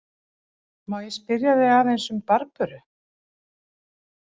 Má ég spyrja þig aðeins um Barböru?